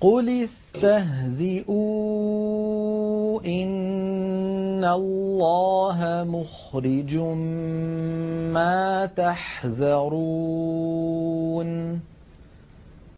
قُلِ اسْتَهْزِئُوا إِنَّ اللَّهَ مُخْرِجٌ مَّا تَحْذَرُونَ